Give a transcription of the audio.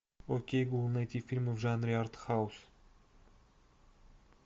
окей гугл найти фильмы в жанре артхаус